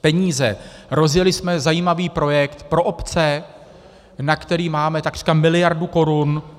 Rozjeli jsme zajímavý projekt pro obce, na který máme takřka miliardu korun.